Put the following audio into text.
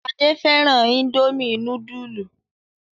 Ade fẹ́ràn Indomie núdúlù.